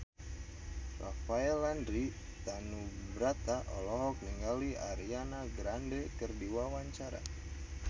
Rafael Landry Tanubrata olohok ningali Ariana Grande keur diwawancara